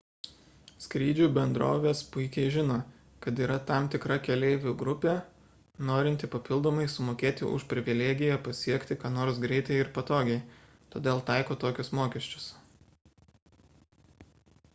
skrydžių bendrovės puikiai žino kad yra tam tikra keleivių grupė norinti papildomai sumokėti už privilegiją pasiekti ką nors greitai ir patogiai todėl taiko tokius mokesčius